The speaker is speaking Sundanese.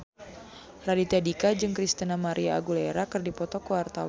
Raditya Dika jeung Christina María Aguilera keur dipoto ku wartawan